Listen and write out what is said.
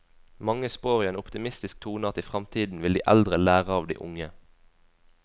Mange spår i en optimistisk tone at i fremtiden vil de eldre lære av de unge.